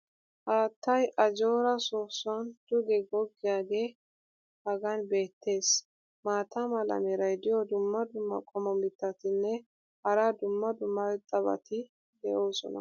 Haattay ajjoora soosuwan duge goggiyaagee hagan beettes. maata mala meray diyo dumma dumma qommo mitattinne hara dumma dumma irxxabati de'oosona.